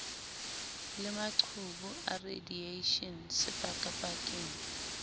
le maqhubu a radieishene sepakapakeng